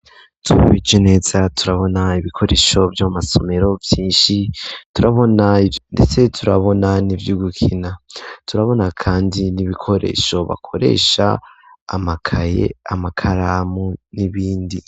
Twihweje neza turabona ibikoresho vyo mu masomero vyishi turabona ndetse turabona n'ivyugukina turabona kandi n'ibikoresho bakoresha amakaye amakaramu n'ibindi